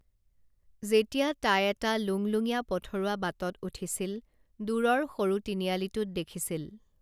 যেতিয়া তাই এটা লুংলুঙীয়া পথৰুৱা বাটত উঠিছিল দূৰৰ সৰু তিনিআলিটোত দেখিছিল